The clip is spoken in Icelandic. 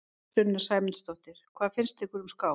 Sunna Sæmundsdóttir: Hvað finnst ykkur um skák?